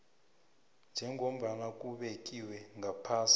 njengombana kubekiwe ngaphasi